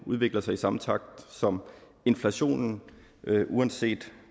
udvikler sig i samme takt som inflationen uanset